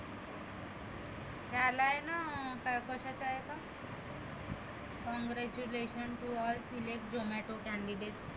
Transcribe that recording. हे आलय ना काय कशाच्या आहेत congratulation to all select zomato candidate